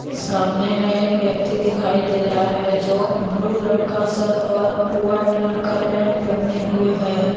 सामने में एक व्यक्ति दिखाई दे रहा है जो ब्लू रंग का शर्ट और वाइट रंग का पैंट पहने हुए हैं।